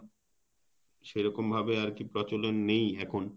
সেরকম ভাবে আরকি প্রচলন নেই এখন